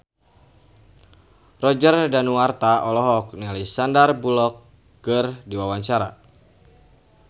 Roger Danuarta olohok ningali Sandar Bullock keur diwawancara